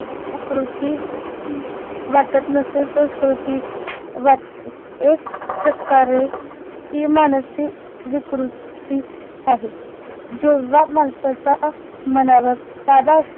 विकृती वाटत नसेल संस्कृति वाटते एक प्रकारे ती मानसी विकृती आहे जेव्हा माणसाच्या मनावर ताबा